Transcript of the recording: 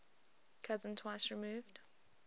cousin twice removed